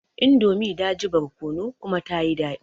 Indomie daji barkono kuma tayi daɗi